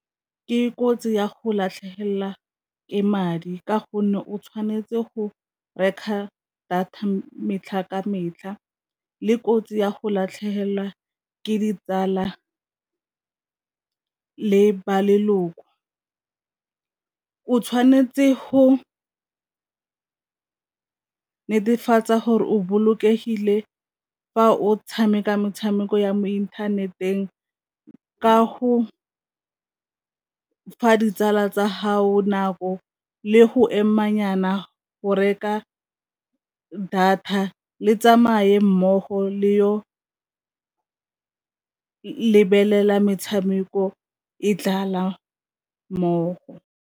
Ke kotsi ya go latlhegelwa ke madi ka gonne o tshwanetse go reka data metlha ka metlha, le kotsi ya go latlhegelwa ke ditsala le ba leloko, o tshwanetse go netefatsa gore o bolokegile fa o tshameka metshameko ya mo inthaneteng ka go fa ditsala tsa gago nako le go ema nyana go reka data le tsamaye mmogo le yo lebelela metshameko e dlala mmogo.